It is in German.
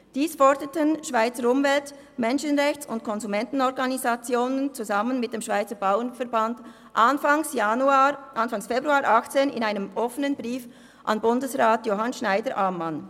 Dies forderten Schweizer Umwelt-, Menschenrechts- und Konsumentenorganisationen zusammen mit dem Schweizer Bauernverband Anfang Februar 2018 in einem offenen Brief an Bundesrat Johann Schneider-Ammann.